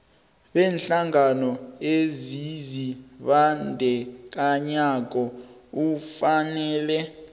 beenhlangano ezizibandakanyako ufanele